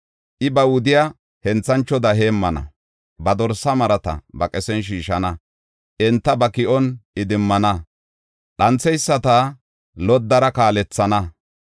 I ba wudiya henthanchoda heemmana; Ba dorsa marata ba qesiyan shiishana; enta ba ki7on idimmana; dhantheyisata loddara kaalethana.